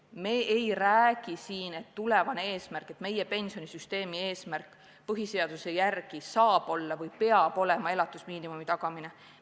Me ei räägi siin, et meie pensionisüsteemi eesmärk põhiseaduse järgi saab olla või peab olema elatusmiinimumi tagamine.